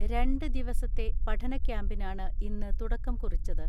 രണ്ട് ദിവസത്തെ പഠനക്യാമ്പിനാണ് ഇന്ന് തുടക്കം കുറിച്ചത്.